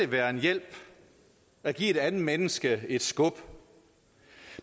være en hjælp at give et andet menneske et skub